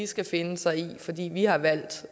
skal finde sig i fordi vi har valgt